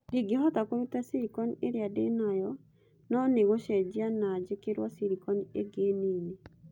Ndingĩhota kũruta silicon ĩrĩa ndĩ nayo, no nĩ gũcenjia na njĩkĩrwo silicon ĩngĩ nini.'